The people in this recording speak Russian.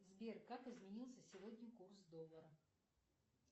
сбер как изменился сегодня курс доллара